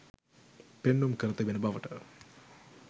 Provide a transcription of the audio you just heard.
පෙන්නුම් කර තිබෙන බවට